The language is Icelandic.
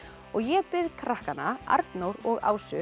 ég bið krakkana Arnór og Ásu